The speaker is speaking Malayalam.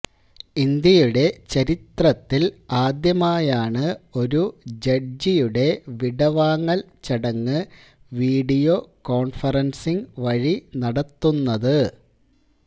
ഇന്ത്യയുടെ ചരിത്രത്തില് ആദ്യമായാണ് ഒരു ജഡ്ജിയുടെ വിടവാങ്ങള് ചടങ്ങ് വീഡിയോ കോണ്ഫറന്സിംഗ് വഴി നടത്തുന്നത്